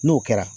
N'o kɛra